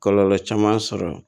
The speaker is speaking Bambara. Kɔlɔlɔ caman sɔrɔ